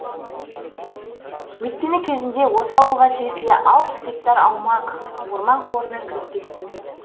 өйткені кезінде осы ауылға тиесілі алпыс гектар аумақ орман қорына кіріп кеткен